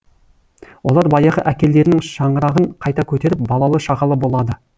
олар баяғы әкелерінің шаңырағын қайта көтеріп балалы шағалы болады